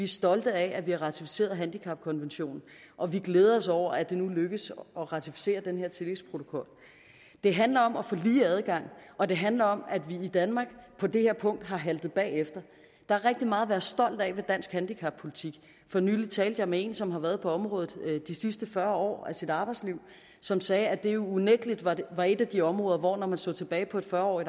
stolte af at vi har ratificeret handicapkonventionen og vi glæder os over at det nu lykkes at ratificere den her tillægsprotokol det handler om at få lige adgang og det handler om at vi i danmark på det her punkt har haltet bagefter der er rigtig meget at være stolt af i dansk handicappolitik for nylig talte jeg med en som har været på området de sidste fyrre år af sit arbejdsliv som sagde at det unægtelig var et af de områder hvor tingene når man så tilbage på et fyrre årig